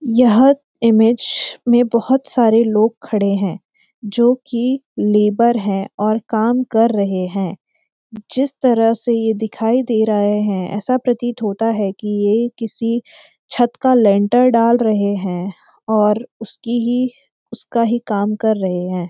यह इमेज में बहोत सारे लोग खड़े हैं जो कि लेबर हैं और काम कर रहे हैं जिस तरह से ये दिखााई दे रहे हैं ऐसा प्रतीत होता है कि ये किसी छत का लेंटर डाल रहे हैं और उसकी ही उसका ही काम कर रहे हैं।